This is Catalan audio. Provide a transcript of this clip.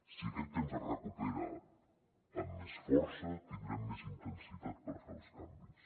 si aquest temps es recupera amb més força tindrem més intensitat per fer els canvis